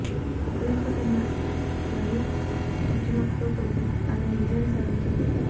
Ukraine కు చెందిన Nadiya Kichenok తో కలిసి ఆమె ఈ విజయాన్ని సాధించింది